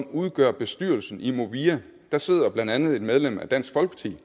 udgør bestyrelsen i movia der sidder blandt andet et medlem af dansk folkeparti